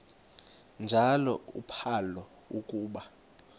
njalo uphalo akuba